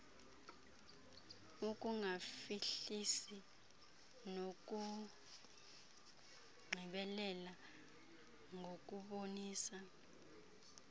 ukungafihlisi nokugqibelela ngokubonisa